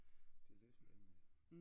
Det er lidt spændende